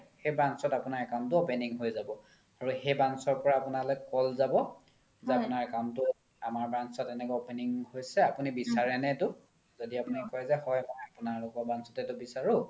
সেই branch ত আপোনাৰ account তো opening হয় যাব আৰু সেই branch ৰ পৰা আপোনালৈ call যাব যে আপোনাৰ account তো আমাৰ branch ত এনেকে opening হৈছে আপোনি বিচাৰে নে এইটো য্দি আপোনি কই যে হয় মই আপোনালোকৰ branch তে বিচাৰো